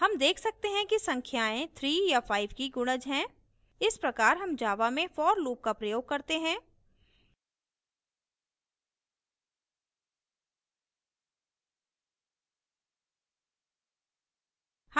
हम देख सकते हैं कि संख्याएं 3 या 5 की गुणज हैं इस प्रकार हम java में for loop का प्रयोग करते हैं